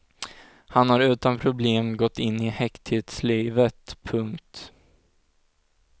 Han har utan problem gått in i häkteslivet. punkt